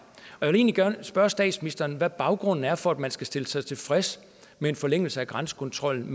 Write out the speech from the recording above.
og egentlig gerne spørge statsministeren hvad baggrunden er for at man skal stille sig tilfreds med en forlængelse af grænsekontrollen